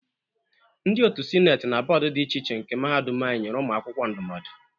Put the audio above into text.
Ndị otu Sineti na bọọdụ dị iche iche nke Mahadum anyi nyere ụmụ akwụkwọ ndụmọdụ.